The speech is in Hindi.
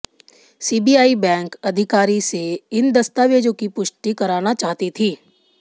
सीबीआई बैंक अधिकारी से इन दस्तावेजों की पुष्टि कराना चाहती थी